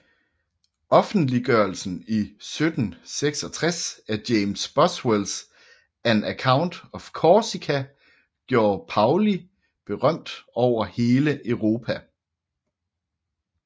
Offentliggørelsen i 1766 af James Boswells An Account of Corsica gjorde Paoli berømt over hele Europa